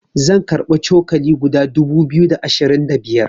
zan karbi cokali guda dubu biyu da ashirin da biyar